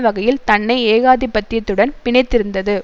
வகையில் தன்னை ஏகாதிபத்தியத்துடன் பிணைத்திருந்தது